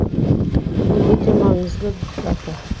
бұл өте маңызды дата